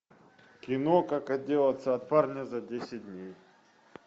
кино как отделаться от парня за десять дней